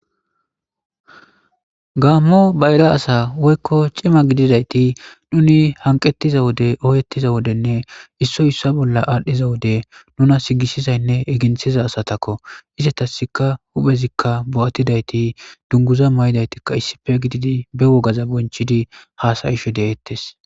gammo bayra asa woykko cima gididayti nuni hanqettiza wode ooyeettiza wodenne issoy issa bolla aadhdhiza wode nuna sigisizaynne eginthiza asatakko izetasika huphezikka bo7attidayti dunguza may7idaytikka issife gididi be wogaza bonchidi haasayisho deettes.